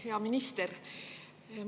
Hea minister!